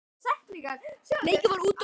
Leikið var úti og inni.